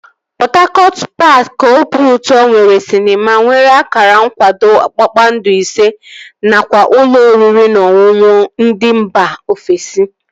Pọt Hakọt paaki obiụtọ nwere sịnema nwere akara nkwado kpakpando ise nakwa ụlọ oriri na ọṅụṅụ ndị mba ofesi